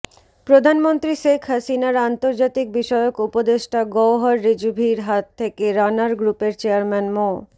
প্রধানমন্ত্রী শেখ হাসিনার আন্তর্জাতিক বিষয়ক উপদেষ্টা গওহর রিজভীর হাত থেকে রানার গ্রুপের চেয়ারম্যান মো